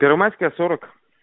первомайская сорок